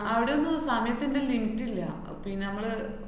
അവിടൊന്നും സമയത്തിന്‍റെ limit ഇല്ല. പിന്നെ മ്മള്